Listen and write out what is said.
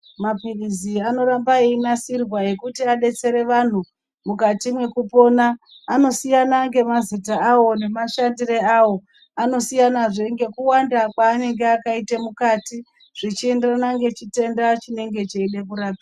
Maphilizi anoramba einasirwa ekuti adetsere vanhu mukati mwekupona. Anosiyana ngemazita awo, ngemashandiro awo. Anosiyanazve ngekuwanda kwaanenge akaite mukati, zvichienderana nechitenda chinenge cheide kurapwa.